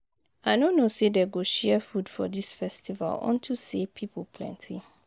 I no know say dey go share food for dis festival unto say people plenty